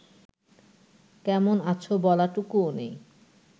কেমন আছ বলাটুকুও নেই